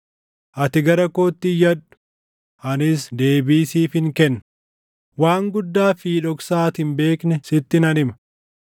‘Ati gara kootti iyyadhu; anis deebii siifin kennaa; waan guddaa fi dhoksaa ati hin beekne sitti nan hima.’